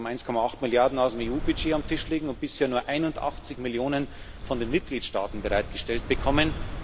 Wir haben 1,8 Milliarden aus dem EU Budget auf dem Tisch liegen und bisher nur 81 Millionen von den Mitgliedstaaten bereitgestellt bekommen.